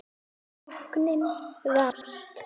Sóknin brást.